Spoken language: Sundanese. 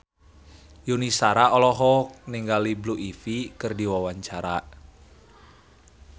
Yuni Shara olohok ningali Blue Ivy keur diwawancara